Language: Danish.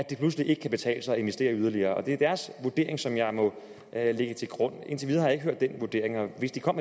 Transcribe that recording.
det pludselig ikke kan betale sig at investere yderligere og det er deres vurdering som jeg må lægge til grund indtil videre har jeg ikke hørt den vurdering og hvis de kom